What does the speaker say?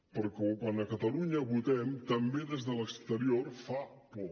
perquè quan a catalunya votem també des de l’exterior fa por